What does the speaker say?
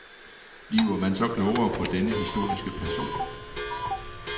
Bliver man så klogere på denne historiske person?